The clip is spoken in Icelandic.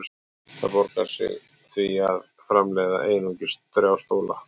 Það borgar sig því að framleiða einungis þrjá stóla.